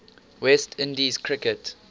west indies cricket